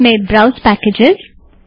उसमें browse package